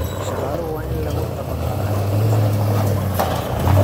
Shaqaaluhu waa in lagu tababaraa xafidista rikoodhada.